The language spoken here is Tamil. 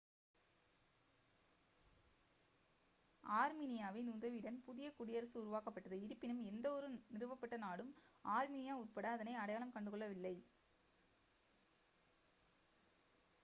ஆர்மினியாவின் உதவியுடன் புதிய குடியரசு உருவாக்கப்பட்டது இருப்பினும் எந்தவொரு நிறுவப்பட்ட நாடும் ஆர்மினியா உட்பட அதனை அடையாளம் கண்டுகொள்ளவில்லை